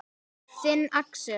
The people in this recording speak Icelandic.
Þinn, Axel.